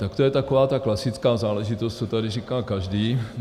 Tak to je taková ta klasická záležitost, co tady říká každý.